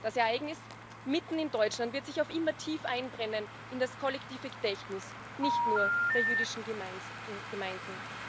Das Ereignis mitten in Deutschland wird sich auf immer tief einbrennen in das kollektive Gedächtnis nicht nur der jüdischen Gemeinden.